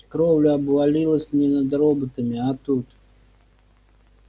кровля обвалилась не над роботами а тут